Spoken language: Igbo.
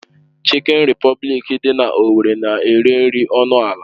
Chikin Repọblikị dị na owerri na-ere nri ọnụ ala.